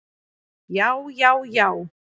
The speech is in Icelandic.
Já, já, já!